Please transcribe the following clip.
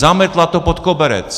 Zametla to pod koberec.